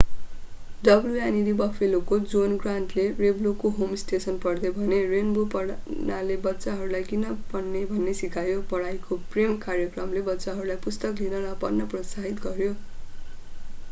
wned बफेलोका John ग्रान्टले रेन्बोको होम स्टेसन पढ्दै भने रेन्बो पढ्नाले बच्चाहरूलाई किन पढ्ने भन्ने सिकायो ......पढाइको प्रेम - कार्यक्रमले बच्चाहरूलाई पुस्तक लिन र पढ्न प्रोत्साहित गर्‍यो।